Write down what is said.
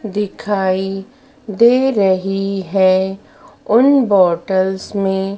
दिखाई दे रही है उन बॉटल्स में--